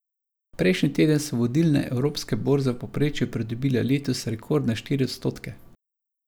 Prejšnji teden so vodilne evropske borze v povprečju pridobile letos rekordne štiri odstotke.